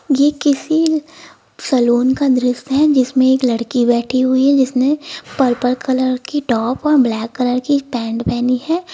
ये किसी सैलून का दृश्य है जिसमें एक लड़की बैठी हुई है जिसने पर्पल कलर की टॉप और ब्लैक कलर की पैंट पहनी है।